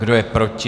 Kdo je proti?